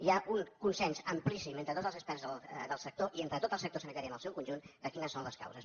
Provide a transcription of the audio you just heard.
hi ha un consens amplíssim entre tots els experts del sector i entre tot el sector sanitari en el seu conjunt de quines són les causes